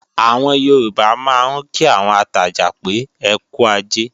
Àwọn Yorùbá máa ń kí àwọn atajà pé, "ẹkú ajé"